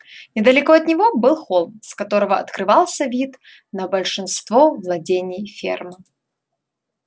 недалеко от него был холм с которого открывался вид на большинство владений фермы